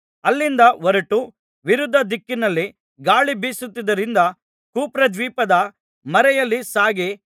ಅಲ್ಲಿಂದ ಹೊರಟು ವಿರುದ್ಧ ದಿಕ್ಕಿನಲ್ಲಿ ಗಾಳಿ ಬೀಸುತ್ತಿದ್ದುದರಿಂದ ಕುಪ್ರದ್ವೀಪದ ಮರೆಯಲ್ಲಿ ಸಾಗಿ